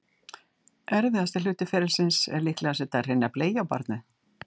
Erfiðasti hluti ferlisins er líklega að setja hreina bleiu á barnið.